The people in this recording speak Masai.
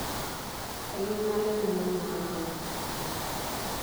kayieu nalo enemanya kokoo